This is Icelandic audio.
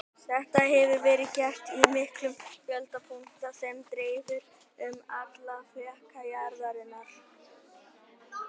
Þetta hefur verið gert á miklum fjölda punkta sem dreifðir eru um alla fleka jarðarinnar.